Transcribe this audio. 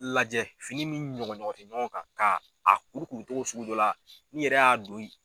Lajɛ fini min ɲɔgɔn ɲɔgɔn tɛ ɲɔgɔn kan ka a kuru cogo sugu dɔ la n'i yɛrɛ y'a don ye